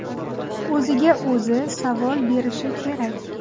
O‘ziga o‘zi savol berishi kerak.